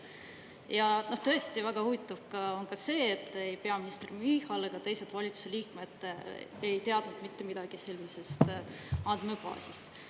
Ja tõesti väga huvitav on ka see, et ei peaminister Michal ega teised valitsuse liikmed ei teadnud mitte midagi sellisest andmebaasist.